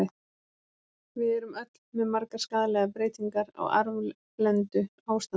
Við erum öll með margar skaðlegar breytingar, á arfblendnu ástandi.